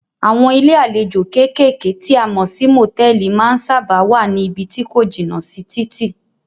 Àwọn ilé àlejò kékèké tí a mọ̀ sí motẹ̀ẹ̀li má ń sábáà wá ní ibí tí ko jìnà sí títì.